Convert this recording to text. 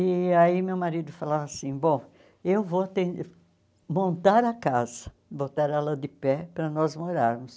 E aí meu marido falava assim, bom, eu vou ten montar a casa, botar ela de pé para nós morarmos.